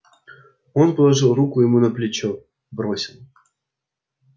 он положил руку ему на плечо бросил